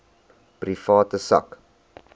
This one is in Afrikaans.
private sak